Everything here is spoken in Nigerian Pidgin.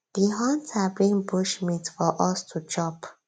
di hunter bring bushmeat for us to chop